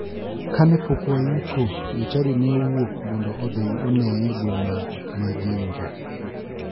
Kane pok wayiko, jochadi ne owuok mondo odhi oneye boma ma jinja.